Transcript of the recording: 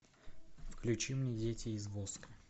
включи мне дети из воска